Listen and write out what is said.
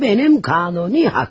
Bu mənim qanuni haqqım.